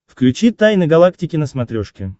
включи тайны галактики на смотрешке